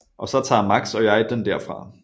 Og så tager Max og jeg den derfra